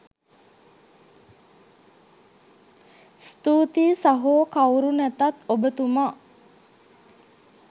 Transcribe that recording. ස්තූතියි සහෝ කවුරු නැතත් ඔබ තුමා